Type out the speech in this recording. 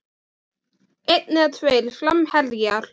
Einn eða tveir framherjar?